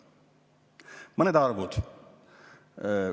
Mõned arvud.